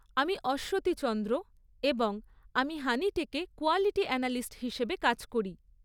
আমি অশ্বতী চন্দ্র এবং আমি হানিটেকে কোয়ালিটি অ্যানালিস্ট হিসেবে কাজ করি।